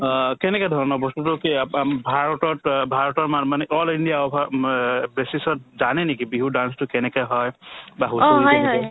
অ, কেনেকে ধৰণৰ বস্তুতো কি আপ আ ভাৰতত অ ভাৰতৰ মানুহ মানে অকল ইণ্ডিয়া over অ basis ত জানে নেকি বিহু dance তো কেনেকে হয় বা হৈছিল এইটোৰ ভিতৰত